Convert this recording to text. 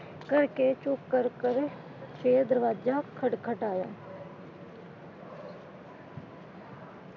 ਕਰਕੇ ਚੁੱਪ ਕਰ ਕਰ ਫੇਰ ਦਰਵਾਜਾ ਖਟ ਖਟਾਇਆ।